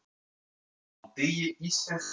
Á degi íslenskrar tungu eru margir viðburðir.